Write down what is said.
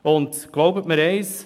Und glauben Sie mir eins: